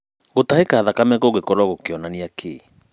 Gũtahĩka thakame kũngĩkorwo gũkĩonania kĩ?